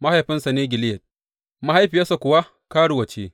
Mahaifinsa ne Gileyad; mahaifiyar kuwa karuwa ce.